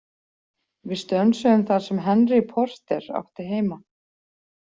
Við stönsuðum þar sem Henry Porter átti heima.